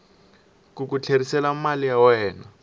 ku ku tlherisela mali ya